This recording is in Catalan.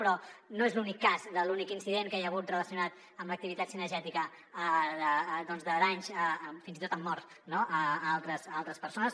però no és l’únic cas de l’únic incident que hi ha hagut relacionat amb l’activitat cinegètica de danys fins i tot amb morts no a altres persones